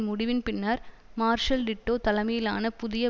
முடிவின்பின்னர் Marshal Tito தலைமயிலானபுதிய